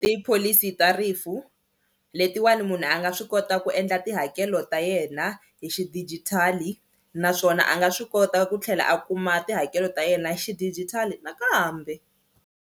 Tipholisi ta rifu letiwani munhu a nga swi kota ku endla tihakelo ta yena hi xidijitali naswona a nga swi kota ku tlhela a kuma tihakelo ta yena xidijitali nakambe.